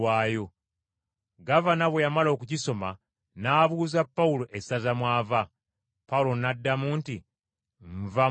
Gavana bwe yamala okugisoma, n’abuuza Pawulo essaza mw’ava. Pawulo n’addamu nti, “Nva mu Kirukiya.”